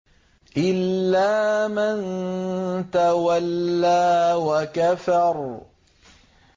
إِلَّا مَن تَوَلَّىٰ وَكَفَرَ